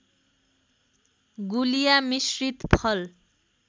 गुलिया मिश्रित फल